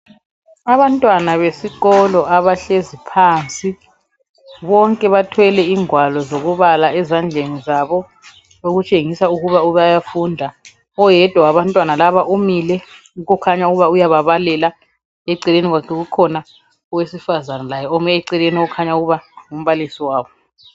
Abantwana besikolo abahlezi phansi bonke bathwele ingwalo zokubala ezandleni zabo okutshengisa ukuba bayafunda. Oyedwa wabantwana laba umile okukhanya ukuba uyaba balela eceleni kwakhe kukhona owesifazana laye ome eceleni okhanya ukuba ngumbalisi wabo.